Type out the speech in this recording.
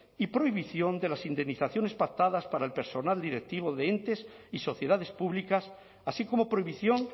y prohibición de las indemnizaciones pactadas para el personal directivo de entes y sociedades públicas así como prohibición